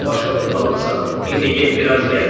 Başqa bir balıqsa: İndi get bir az gəz.